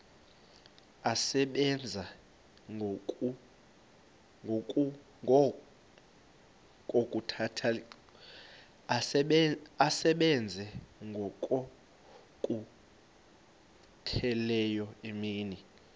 asebenza ngokokhutheleyo imini